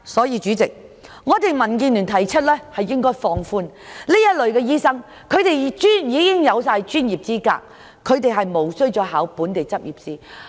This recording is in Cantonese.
因此，民建聯認為應放寬對這類醫生的要求，因他們已擁有專業資格，實無須再應考本地執業試。